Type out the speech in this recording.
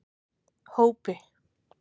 Hópi